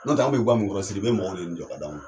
N'o tɛ an bi ga min kɔrɔ Sidibe mɔgɔw de ye nin jɔ ka d'an ma.